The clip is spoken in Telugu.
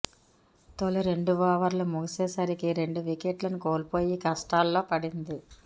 తొలి రెండు ఓవర్లు ముగిసే సరికి రెండు వికెట్లను కోల్పోయి కష్టాల్లో పడింది